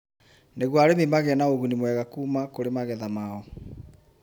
nĩguo arĩmi magĩe na ũgunimwega kuuma kũrĩ magetha mao.